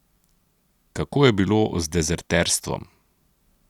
Kako je bilo z dezerterstvom?